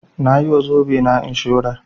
Nayi wa zobe na inshurar